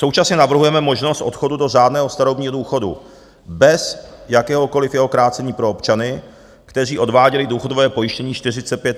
Současně navrhujeme možnost odchodu do řádného starobního důchodu bez jakéhokoliv jeho krácení pro občany, kteří odváděli důchodové pojištění 45 a více let.